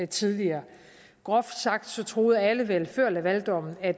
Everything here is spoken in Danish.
tidligere groft sagt troede alle vel før lavaldommen at